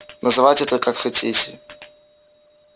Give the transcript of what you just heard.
называйте это как хотите